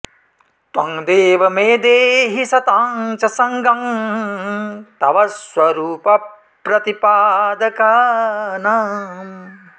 त्वं देव मे देहि सतां च संगं तव स्वरूपप्रतिपादकानाम्